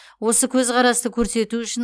осы көзқарасты көрсету үшін